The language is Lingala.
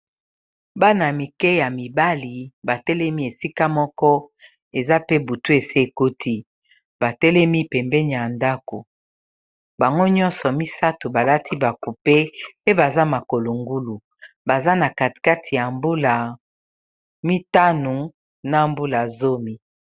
bana mike ya mibali batelemi esika moko eza pe butu ese ekoti batelemi pembeni ya ndako bango nyonso misato balati bakupe pe baza makolo ngulu baza nakati ya mbula mitano na mbula zumi